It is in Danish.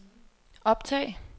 optag